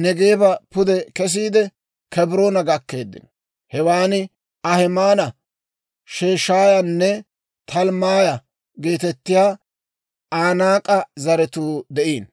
Neegeeba pude kesiide, Kebroona gakkeeddino; hewan Ahimaana, Sheshaayanne Talmmaaya geetettiyaa Anaak'e zaratuu de'iino.